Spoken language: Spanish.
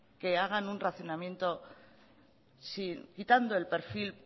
hacer un racionamiento quitando el perfil